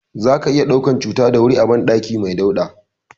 Zaka iya ɗaukan cuta da wuri a banɗaki mai dauɗa.